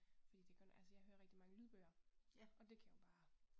Fordi det godt altså jeg hører rigtig mange lydbøger og det kan jeg jo bare